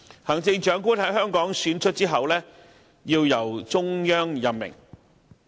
行政長官在香港選出後，要由中央任命。